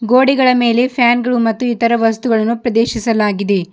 ಗೋಡಿಗಳ ಮೇಲೆ ಫ್ಯಾನ್ ಗಳು ಮತ್ತು ಇತರ ವಸ್ತುಗಳನ್ನು ಪ್ರದೇಶಸಲಾಗಿದೆ.